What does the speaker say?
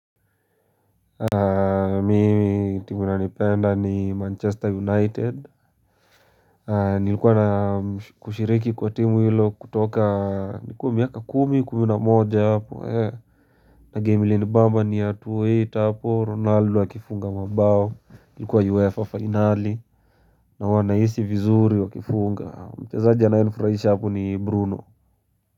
Mimi timu ninayoipenda ni Manchester United Nilikuwa na kushiriki kwa timu hilo kutoka nikuwa miaka kumi kumi na moja hapo hee na game ilinibamba ni ya 2008 hapo Ronaldo akifunga mabao ilikuwa UEFA finali na huwa nahisi vizuri wakifunga mchezaji anayenifurahisha hapo ni Bruno.